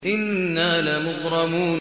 إِنَّا لَمُغْرَمُونَ